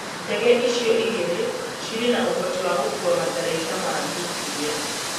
Ndege ĩcio igĩrĩ cire na ũhoti wa gũkũa matharaita ma nĩũklia